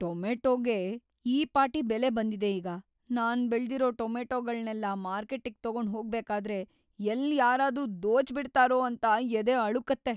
ಟೊಮೇಟೋಗೆ ಈ ಪಾಟಿ ಬೆಲೆ ಬಂದಿದೆ ಈಗ, ನಾನ್‌ ಬೆಳ್ದಿರೋ ಟೊಮೆಟೋಗಳ್ನೆಲ್ಲ ಮಾರ್ಕೆಟ್ಟಿಗ್‌ ತಗೊಂಡ್‌ ಹೋಗ್ಬೇಕಾದ್ರೆ ಎಲ್ಲ್ ಯಾರಾದ್ರೂ‌ ದೋಚ್ಬಿಡ್ತಾರೋ ಅಂತ ಎದೆ ಅಳುಕತ್ತೆ.